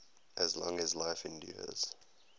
as long as life endures